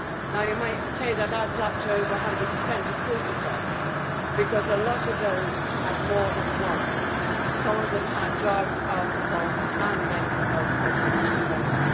Now you might say that adds up to over 100. Of course it does, because a lot of people had more than one some of them had drug, alcohol and mental health problems combined.